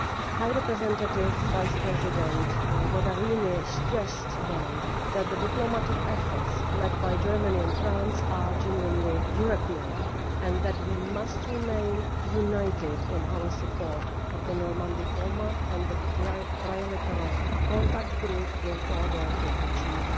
High Representative Vice-President Mogherini stressed then that the diplomatic efforts led by Germany and France are genuinely European, and that we must remain united in our support of the Normandy Format and the Trilateral Contact Group in order to achieve